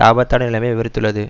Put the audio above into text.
ஆபத்தான நிலைமையை விவரித்துள்ளது